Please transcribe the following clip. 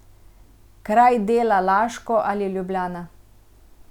Kraj dela Laško ali Ljubljana.